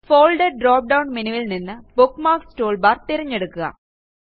folder drop down menuവിൽ നിന്ന് bookmarks toolbar തിരഞ്ഞെടുക്കുക